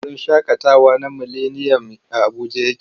Wurin shaƙatawa na mileniyam a Abuja yake.